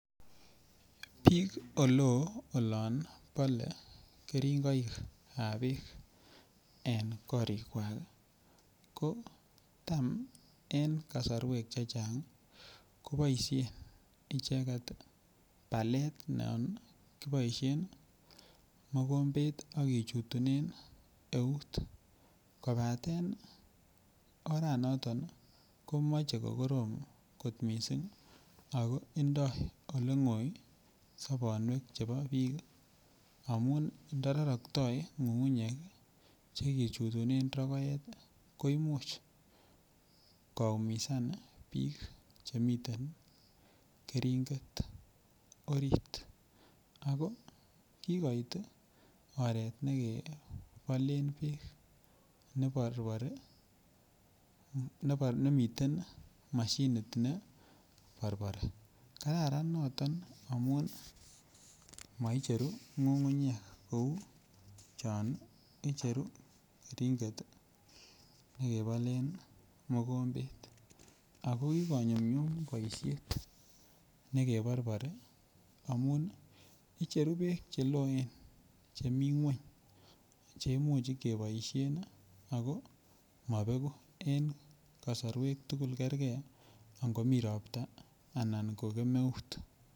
Biik ole oo olon bole keringoikab beek en korikwak ii ko tam en kosorwek chechang ii ko boishen icheget ii balet non kiboishen ii mogobet ak kichutunen eut kobaten ora noton komoche ko koroom kot missing ako indoi ole goi sobonwek chebo biik amun not roroktoi ngungunyek ii che kichutunen rogoet ii ko imuch ko umisan biik che miten keringet orit ako kigoit oret ne kebolen beek neborbor nemiten moshinit neborbor. Kararan noton amun moi cheruu ngungunyek kouu chon icheru keringet ii ne kebolen mogombet. Ako kigonyumnyum boishet ne keborbori amun icheru beek che looen chemii kweny che imuch keboishen ako mobegu en kosorwek tugul, kerge ango mii ropta anan ko kemeut